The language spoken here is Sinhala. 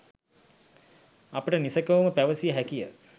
අපට නිසැකවම පැවසිය හැකිය.